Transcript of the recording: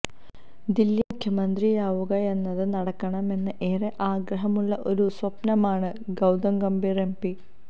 ദില്ലി മുഖ്യമന്ത്രിയാവുകയെന്നത് നടക്കണമെന്ന് ഏറെ ആഗ്രഹമുള്ള ഒരു സ്വപ്നമാണ് ഗൌതം ഗംഭീര് എംപി